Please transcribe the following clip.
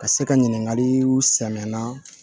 Ka se ka ɲininkaliw sɛnɛnna